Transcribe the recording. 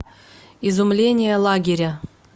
изумление лагеря